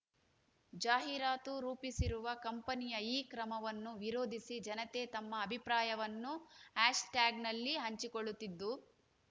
ಜಾಹೀರಾತು ರೂಪಿಸಿರುವ ಕಂಪನಿಯ ಈ ಕ್ರಮವನ್ನು ವಿರೋಧಿಸಿ ಜನತೆ ತಮ್ಮ ಅಭಿಪ್ರಾಯವನ್ನು ಆಶ್ ಟ್ಯಾಗ್‌ನಲ್ಲಿ ಹಂಚಿಕೊಳ್ಳುತ್ತಿದ್ದು